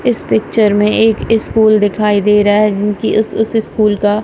इस पिक्चर में एक स्कूल दिखाई दे रहा है कि उस उस स्कूल का--